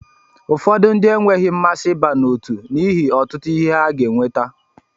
Ụfọdụ ndị enweghị mmasị ịba n'otu n'ihi ọtụtụ ihe ha ga eweta.